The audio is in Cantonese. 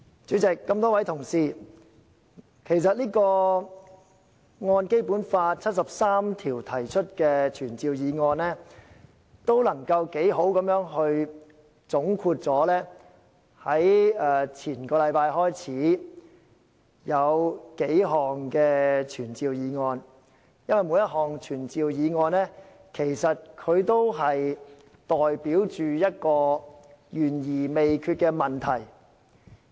主席，各位同事，其實這項根據《基本法》第七十三條提出的傳召議案，可以充分總括上兩個星期開始辯論的數項傳召議案，因為每項傳召議案都代表一個懸而未決的問題。